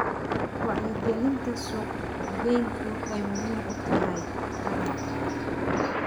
Wacyigelinta suuqgeyntu waxay muhiim u tahay taranta.